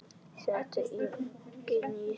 Setjið eggin í litla skál.